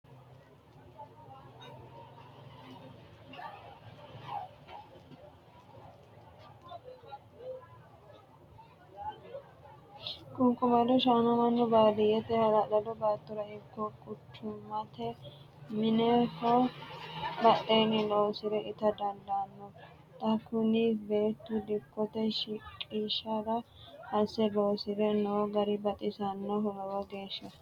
Ququmado shaana mannu baadiyyete hala'lado baattora ikko quchumate mineho badheeni loosire itta dandaano, xa kuni beettu dikkote shiqqishara asse loosire no gari baxisanoho lowo geeshsha.